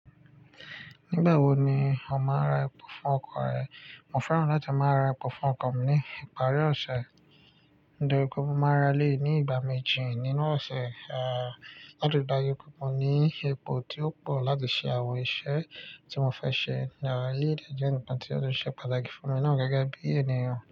Nígbà wo ni ó máa ra epo fún ọkọ̀ rẹ̀? Mo fẹ́ràn láti máa ra epo fún ọkọ̀ mi ní ìparí ọ̀sẹ̀. Nítorí pé mo máa rà eléyìí ní ìgbà méjì nínú ọ̀sẹ̀, láti dá yí epo kan ní epo tí ó pọ̀ láti ṣe àwọn iṣẹ́ tí mo fẹ́ ṣe ní ara ilé dájú nìkan tí ó ṣe pàtàkì fún mi náà gẹ́gẹ́ bí ènìyàn.